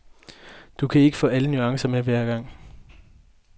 Du kan ikke få alle nuancer med hver gang.